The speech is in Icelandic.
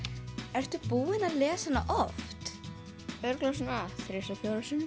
ertu búin að lesa hana oft örugglega svona þrisvar fjórum sinnum